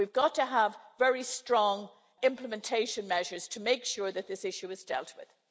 We've got to have very strong implementation measures to make sure that this issue is dealt with.